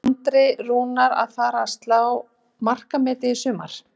Er Andri Rúnar að fara að slá markametið í sumar?